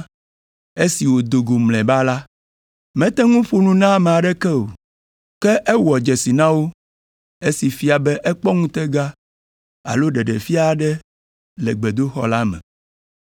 Esi wòdo go mlɔeba la, mete ŋu ƒo nu na ame aɖeke o, ke ewɔ dzesi na wo, esi fia be ekpɔ ŋutega alo ɖeɖefia aɖe le gbedoxɔ la me.